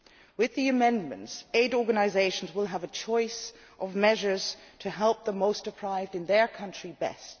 With the amendments, aid organisations will have a choice of measures to help the most deprived in their country best.